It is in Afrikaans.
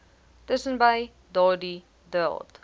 tussenbei daardie draad